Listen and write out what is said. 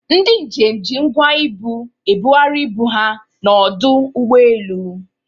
Ndị njem ji ngwa ibu ebugharị ibu ha n'ọdụ ụgbọelu.